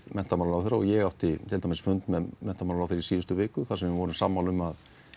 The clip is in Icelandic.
menntamálaráðherra og ég átti fund með menntamálaráðherra í síðustu viku þar sem við vorum sammála um að